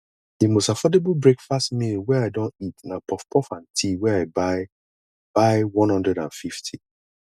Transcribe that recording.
di most affordable breakfast meal wey i don eat na puffpuff and tea wey i buy buy one hundred and fifty